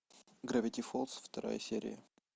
гравити фолз вторая серия